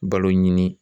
Balo ɲini